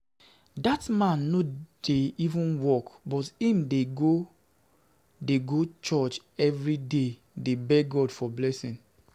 Dat man no dey even work but im dey go dey go church everyday dey beg God for blessing